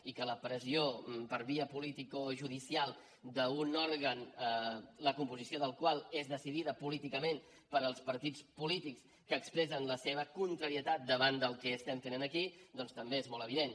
i la pressió per via politicojudicial d’un òrgan la composició del qual és decidida políticament pels partits polítics que expressen la seva contrarietat davant del que estem fent aquí doncs també és molt evident